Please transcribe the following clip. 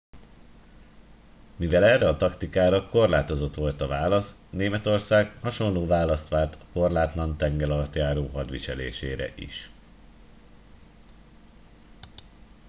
mivel erre a taktikára korlátozott volt a válasz németország hasonló választ várt a korlátlan tengeralattjáró hadviselésére is